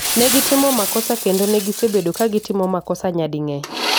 Negitimo makosa kendo negisebedo kagitimo makosa nyading'eny